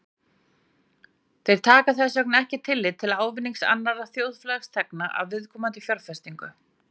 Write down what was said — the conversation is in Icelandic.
Þeir taka þess vegna ekki tillit til ávinnings annarra þjóðfélagsþegna af viðkomandi fjárfestingu.